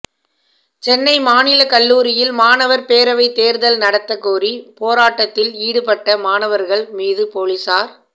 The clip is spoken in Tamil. சென்னை மாநிலக் கல்லூரியில் மாணவர் பேரவைத் தேர்தல் நடத்தக் கோரி பேராட்டத்தில் ஈடுபட்ட மாணவர்கள் மீது பொலிசார்